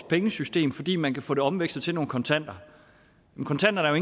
pengesystemet fordi man kan få omvekslet til nogle kontanter men kontanterne er